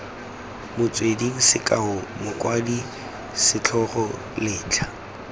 metsweding sekao mokwadi setlhogo letlha